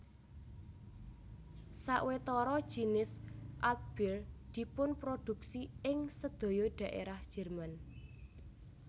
Sawetara jinis Altbier dipunproduksi ing sedaya daerah Jerman